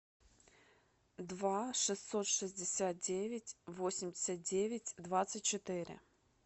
два шестьсот шестьдесят девять восемьдесят девять двадцать четыре